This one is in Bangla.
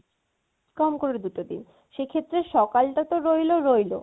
কমকরে দুটো দিন। সেক্ষেত্রে সকাল টা তো রইলো রইলো